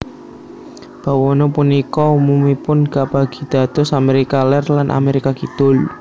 Bawana punika umumipun kabagi dados Amérika Lèr lan Amérika Kidul